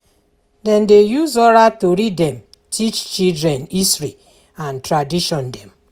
Dem dey use oral tori dem teach children history and tradition dem.